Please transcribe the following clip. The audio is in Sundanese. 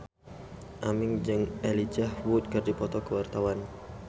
Aming jeung Elijah Wood keur dipoto ku wartawan